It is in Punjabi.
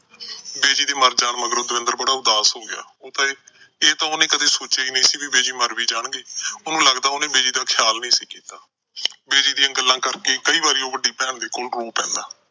ਬਿਜੀ ਦੇ ਮਰ ਜਾਣ ਮਗਰੋਂ ਦਵਿੰਦਰ ਬੜਾ ਉਦਾਸ ਹੋ ਗਿਆ। ਇਹ ਤਾਂ ਉਹਨੇ ਕਦੇ ਸੋਚਿਆ ਈ ਨੀ ਕਿ ਬਿਜੀ ਮਰ ਵੀ ਜਾਣਗੇ। ਉਹਨੂੰ ਲੱਗਦਾ ਉਹਨੇ ਬਿਜੀ ਦਾ ਖਿਆਲ ਨਹੀਂ ਸੀ ਕੀਤਾ। ਬਿਜੀ ਦੀਆਂ ਗੱਲਾਂ ਕਰਕੇ ਉਹ ਕਈ ਵਾਰ ਵੱਡੀ ਭੈਣ ਕੋਲ ਰੋ ਪੈਂਦਾ।